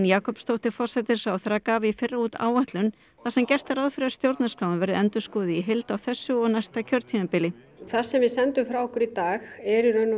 Jakobsdóttir forsætisráðherra gaf í fyrra út áætlun þar sem gert er ráð fyrir að stjórnarskráin verði endurskoðuð í heild á þessu og næsta kjörtímabili það sem við sendum frá okkur í dag eru í raun